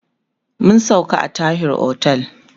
mun sauka a Tahir otel